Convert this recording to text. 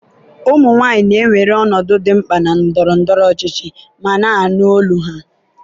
ụmụ nwanyị na-ewere ọnọdụ dị mkpa na ndọrọ ndọrọ ọchịchị ma na-anụ olu ha.